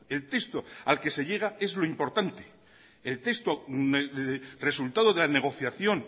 el texto al que se llega es lo importante el texto resultado de la negociación